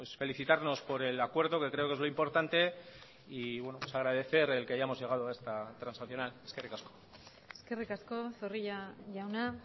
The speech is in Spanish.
felicitarnos por el acuerdo que creo que es lo importante y agradecer el que hayamos llegado a esta transaccional eskerrik asko eskerrik asko zorrilla jauna